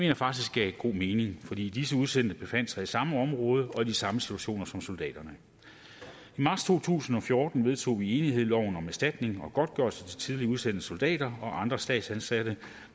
jeg faktisk gav god mening fordi disse udsendte befandt sig i samme område og i de samme situationer som soldaterne i marts to tusind og fjorten vedtog vi i enighed loven om erstatning og godtgørelse til tidligere udsendte soldater og andre statsansatte